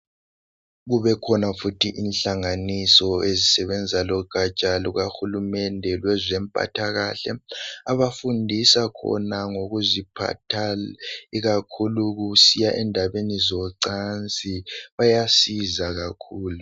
Kubekhona futhi inhlanganiso ezisebenza logatsha lukahulumende kwezompathakahle abafundisa khona ngokuziphatha kahle ikakhulu kusiya endabeni zocansi. Bayasiza kakhulu.